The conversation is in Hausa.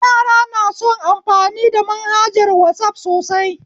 Yara na son amfani da manhajar wasaf sosai